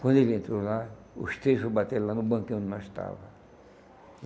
Quando ele entrou lá, os três foram bater lá no banquinho onde nós estávamos.